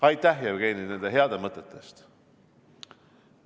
Aitäh, Jevgeni, nende heade mõtete eest!